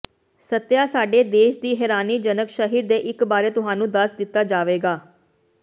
ਸੱਤਿਆ ਸਾਡੇ ਦੇਸ਼ ਦੀ ਹੈਰਾਨੀਜਨਕ ਸ਼ਹਿਰ ਦੇ ਇੱਕ ਬਾਰੇ ਤੁਹਾਨੂੰ ਦੱਸ ਦਿੱਤਾ ਜਾਵੇਗਾ